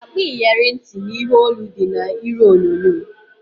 Akpa iyeri ntị na ihe olu dị na iru onyonyo